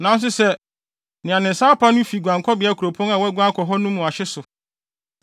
“ ‘Nanso sɛ nea ne nsa apa no no fi guankɔbea kuropɔn a waguan akɔ mu no no ahye so